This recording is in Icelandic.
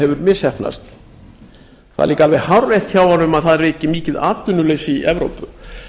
hefur misheppnast það er líka alveg hárrétt hjá honum að það ríkir mikið atvinnuleysi í evrópu